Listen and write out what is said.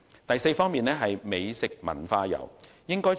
第四，發展美食文化遊。